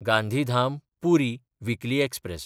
Gandhidham-Puri weekly express